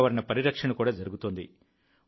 పర్యావరణ పరిరక్షణ కూడా జరుగుతోంది